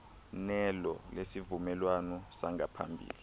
nelo lesivumelwano sangaphambili